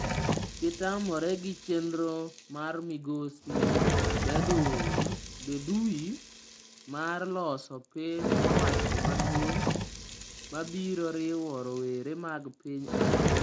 Gitamore gi chenro mar Migosi Bedoui mar loso piny owacho maduong' mabiro riwo rowere mag piny Algeria.